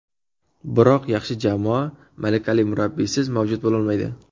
Biroq yaxshi jamoa malakali murabbiysiz mavjud bo‘lolmaydi.